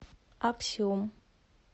аксеум